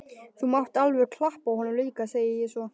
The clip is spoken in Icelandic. Þú mátt alveg klappa honum líka, segi ég svo.